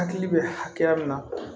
Hakili bɛ hakɛya min na